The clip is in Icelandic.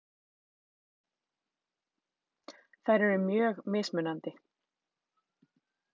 Þær eru mjög mismunandi.